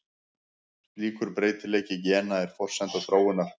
Slíkur breytileiki gena er forsenda þróunar.